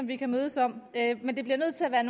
vi kan mødes om men det bliver nødt til at være